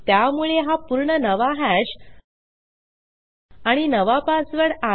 त्यामुळे हा पूर्ण नवा हॅश आणि नवा पासवर्ड आहे